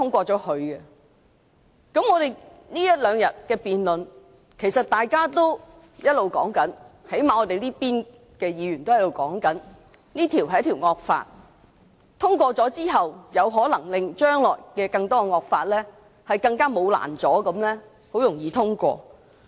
在這兩天的辯論中，其實大家也一直在討論，最少我們這邊的議員也一直說，這是一項引致惡果的修訂，通過之後，將來有可能令更多惡法更毫無阻攔地通過。